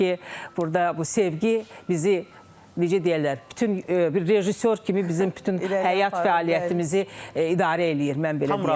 Odur ki, burda bu sevgi bizi, necə deyərlər, bütün bir rejissor kimi bizim bütün həyat fəaliyyətimizi idarə eləyir, mən belə deyərdim.